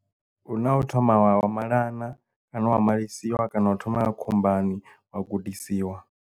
Huna u thoma wa malana kana wa malisiwa kana u thoma wa ya khombani wa gudisiwa.